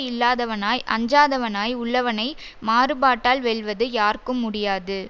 இல்லாதவனாய் அஞ்சாதவனாய் உள்ளவனை மாறுபாட்டால் வெல்வது யார்க்கும் முடியாது